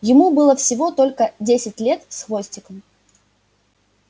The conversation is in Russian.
ему было всего только десять лет с хвостиком